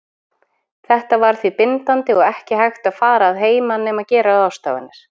Þetta var því bindandi og ekki hægt að fara að heiman nema gera ráðstafanir.